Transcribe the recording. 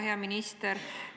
Hea minister!